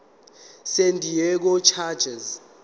san diego chargers